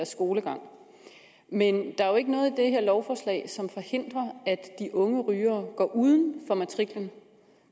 skolegang men jo ikke noget i det her lovforslag som forhindrer at de unge rygere går uden for matriklen